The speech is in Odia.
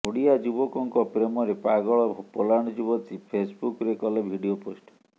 ଓଡ଼ିଆ ଯୁବକଙ୍କ ପ୍ରେମରେ ପାଗଳ ପୋଲାଣ୍ଡ ଯୁବତୀ ଫେସ୍ବୁକ୍ରେ କଲେ ଭିଡିଓ ପୋଷ୍ଟ